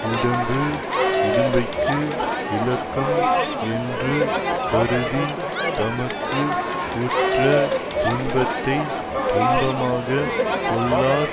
உடம்பு இடும்பைக்கு இலக்கம் என்று கருதி தமக்கு உற்ற துன்பத்தை துன்பமாகக் கொள்ளார்